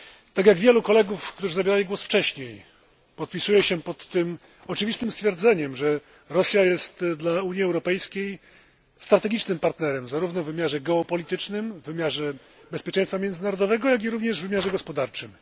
Tak jak wielu kolegów, którzy zabierali głos wcześniej, podpisuję się pod tym oczywistym stwierdzeniem, że Rosja jest dla Unii Europejskiej strategicznym partnerem zarówno w wymiarze geopolitycznym, bezpieczeństwa międzynarodowego jak i również w wymiarze gospodarczym.